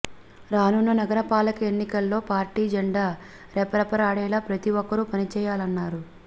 రానున్న నగర పాలక ఎన్నికల్లో పార్టీ జెండా రెపరెపలాడేలా ప్రతి ఒక్కరూ పనిచేయాలన్నారు